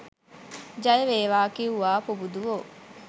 ජය වේවා කිව්වා පුබුදුවෝ